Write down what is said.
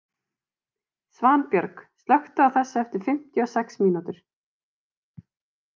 Svanbjörg, slökktu á þessu eftir fimmtíu og sex mínútur.